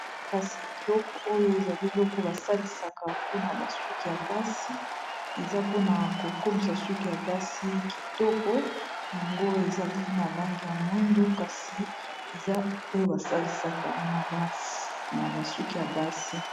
kasi eloko oyo ezali eloko basalisaka mpona basuki ya basi eza mpona kokomisa suki ya basi kitoko yango ezali na lange ya mwindu kasi eza oyo basalisaka na basuki ya basi